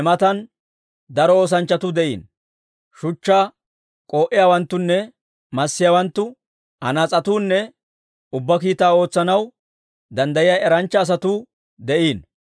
Ne matan daro oosanchchatuu de'iino; shuchchaa k'oo'iyaawanttunne massiyaawanttu, anaas'etuunne ubbaa kiitaa ootsanaw danddayiyaa eranchcha asatuu de'iino.